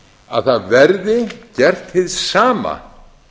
að það verði gert hið sama